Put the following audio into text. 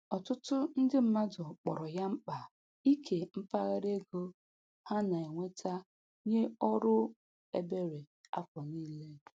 Ọtụtụ ndị mmadụ kpọrọ ya mkpa ike mpaghara ego ha na-enweta nye ọrụ ebere afọ niile.